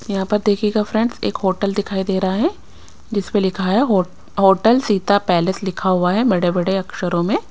यहां पर देखिएगा फ्रेंड्स एक होटल दिखाई दे रहा है जिस पे लिखा है होटल सीता पैलेस लिखा हुआ है बड़े-बड़े अक्षरों में--